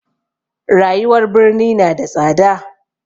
Rayuwar birni na da tsada.